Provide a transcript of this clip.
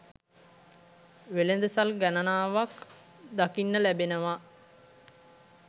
වෙළඳ සල් ගණනාවක් දකින්න ලැබෙනව.